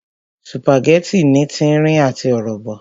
Sùpàgẹ́tì ní tírín àti ọ̀rọ̀bọ̀